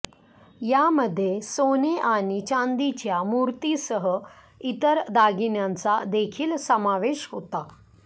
यामध्ये सोने आणि चांदीच्या मूर्तींसह इतर दागिन्यांचा देखील समावेश होता